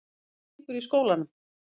Hvernig gengur í skólanum?